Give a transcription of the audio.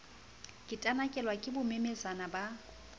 ke tanakelwe ke bommamesana ba